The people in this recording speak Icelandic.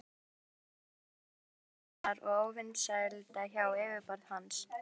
Þetta olli honum vanþóknunar og óvinsælda hjá yfirboðurum hans.